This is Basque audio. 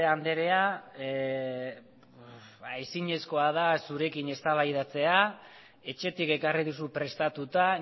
anderea ezinezkoa da zurekin eztabaidatzea etxetik ekarri duzu prestatuta